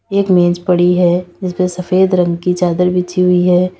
एक मेज पड़ी है जिसपे सफेद रंग की चादर बिछी हुई है।